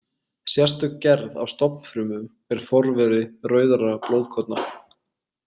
Sérstök gerð af stofnfrumum er forveri rauðra blóðkorna.